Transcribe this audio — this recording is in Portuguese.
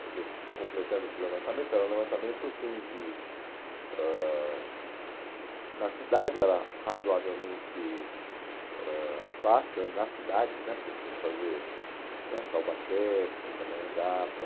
Quer dizer, completando esse levantamento, que era um levantamento, assim, de... ãh na cidade era razoavelmente ãh fácil, eh nas cidades né, porque a gente tinha que fazer né Taubaté, Pindamonhangaba,